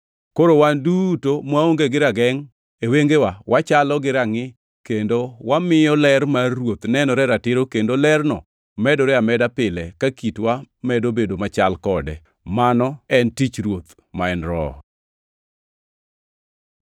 Koro wan duto mwaonge gi ragengʼ e wengewa wachalo gi rangʼi kendo wamiyo ler mar ruoth nenore ratiro kendo lerno medore ameda pile ka kitwa medo bedo machal kode; mano en tich Ruoth ma en Roho.